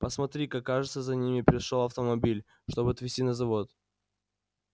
посмотри-ка кажется за нами пришёл автомобиль чтобы отвезти на завод